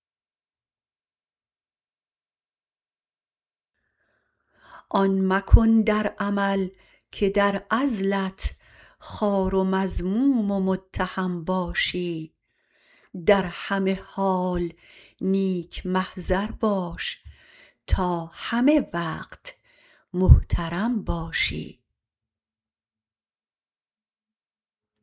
آن مکن در عمل که در عزلت خوار و مذموم و متهم باشی در همه حال نیک محضر باش تا همه وقت محترم باشی